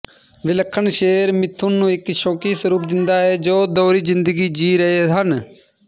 ਵਿਲੱਖਣ ਸ਼ੇਰ ਮਿਥੁਨ ਨੂੰ ਇੱਕ ਸ਼ੱਕੀ ਸਰੂਪ ਦਿੰਦਾ ਹੈ ਜੋ ਦੋਹਰੀ ਜ਼ਿੰਦਗੀ ਜੀ ਰਹੇ ਹਨ